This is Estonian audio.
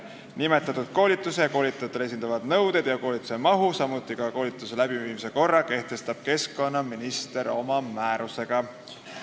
Nimetatud koolitusele ja koolitajale esitavad nõuded ja koolituse mahu, samuti koolituse läbiviimise korra kehtestab keskkonnaminister oma määrusega.